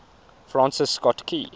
francis scott key